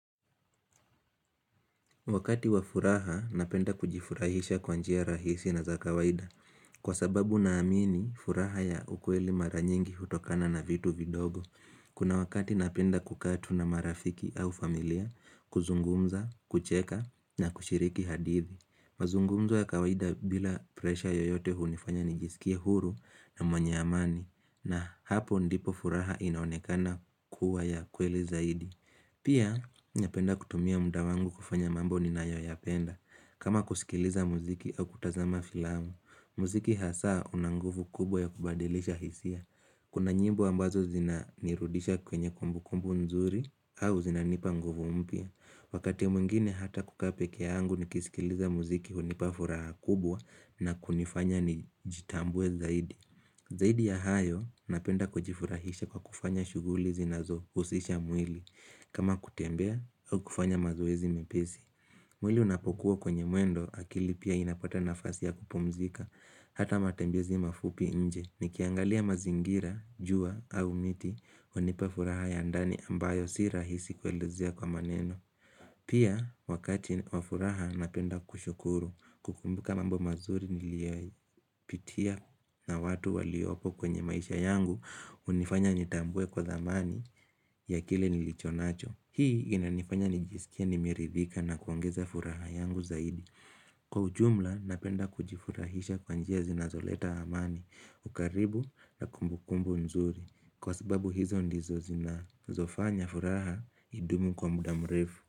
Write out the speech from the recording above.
Wakati wa furaha napenda kujifurahisha kwanjia rahisi na za kawaida Kwa sababu na amini furaha ya ukweli maranyingi hutokana na vitu vidogo Kuna wakati napenda kukaa tu na marafiki au familia kuzungumza, kucheka na kushiriki hadithi mazungumzo ya kawaida bila presha yoyote hunifanya nijiskie huru na mwenye amani na hapo ndipo furaha inaonekana kuwa ya kweli zaidi Pia, niapenda kutumia mda wangu kufanya mambo ni nayo yapenda. Kama kusikiliza muziki au kutazama filamu, muziki hasa unanguvu kubwa ya kubadilisha hisia. Kuna nyimbo ambazo zina nirudisha kwenye kumbu kumbu nzuri au zina nipanguvu mpya. Wakati mwingine hata kukaa pekee yangu ni kisikiliza muziki hunipafuraha kubwa na kunifanya ni jitambue zaidi. Zaidi ya hayo napenda kujifurahisha kwa kufanya shughuli zinazohusisha mwili. Kama kutembea au kufanya mazoezi mepesi. Mwili unapokuwa kwenye mwendo akili pia inapata nafasi ya kupumzika. Hata matembezi mafupi nje ni kiangalia mazingira, jua au miti hunipafuraha ya ndani ambayo sirahisi kuelezea kwa maneno. Pia wakati wafuraha napenda kushukuru kukumbuka mambo mazuri niliyaipitia na watu waliopo kwenye maisha yangu hunifanya nitambue kwa dhamani ya kile nilicho nacho. Hii inanifanya nijisikie nimeridhika na kuongeza furaha yangu zaidi. Kwa ujumla napenda kujifurahisha kwanjia zinazoleta amani, ukaribu na kumbukumbu nzuri. Kwa sababu hizo ndizo zina zofanya furaha idumu kwa mudamrefu.